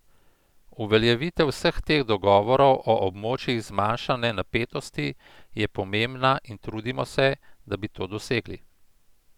Uveljavitev vseh teh dogovorov o območjih zmanjšane napetosti je pomembna in trudimo se, da bi to dosegli.